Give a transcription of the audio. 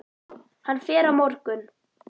Hann fer á morgun.